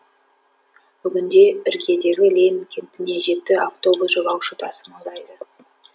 бүгінде іргедегі ленин кентіне жеті автобус жолаушы тасымалдайды